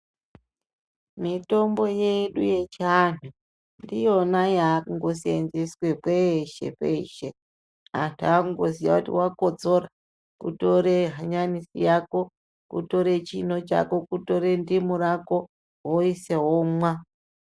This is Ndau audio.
Mitombo yedu yechiantu ndiyona yakusenzeswa kwese kwese antu akuziva kuti wakotsora kutora hanya nisi Yako kutora chinyi chako kutora ndimu yako woisa womwa.